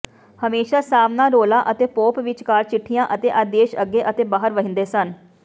ਹਮੇਸ਼ਾਂ ਸਾਵਣਾਰੋਲਾ ਅਤੇ ਪੋਪ ਵਿਚਕਾਰ ਚਿੱਠੀਆਂ ਅਤੇ ਆਦੇਸ਼ ਅੱਗੇ ਅਤੇ ਬਾਹਰ ਵਹਿੰਦੇ ਸਨ